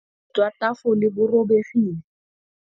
jwa tafole bo robegile.